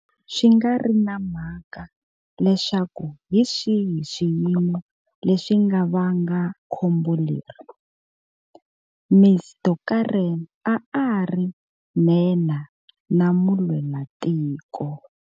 Swi nga ri na mhaka leswaku hi swihi swiyimo leswi nga va nga khombo leri, Ms Deokaran a a ri nhenha na mulwelatiko.